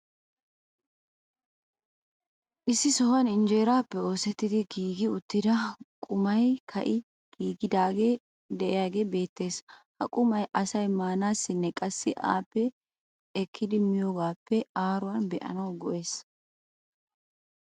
Issi sohuwan injjeeraappe oosettidi giigi uttida qumay ka'i giigidi diyaagee beetees. ha qummay asay maanassinne qassi appe ekkidi miyoogaappe aaruwaa be'anawu go'ees.